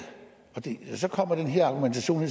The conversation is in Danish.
så kommer den her argumentation